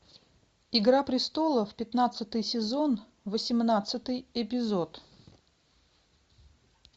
игра престолов пятнадцатый сезон восемнадцатый эпизод